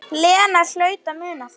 Lena hlaut að muna það.